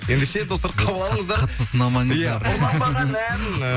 ендеше достар қабыл алыңыздар қатты сынамаңыздар иә ұрланбаған ән ы